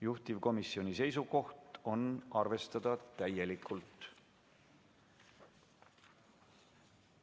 Juhtivkomisjoni seisukoht on arvestada seda täielikult.